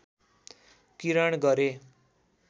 किरण गरे